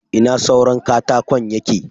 Ina suran katakon yake?